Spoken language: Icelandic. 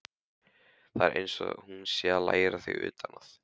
Það er einsog hún sé að læra þig utan að.